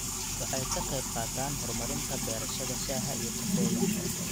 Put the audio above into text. Waxay ka qayb qaataan horumarinta beerashada shaaha iyo kafeega.